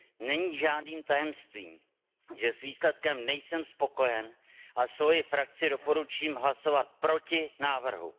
Není žádným tajemstvím, že s výsledkem nejsem spokojen a svojí frakci doporučím hlasovat proti návrhu.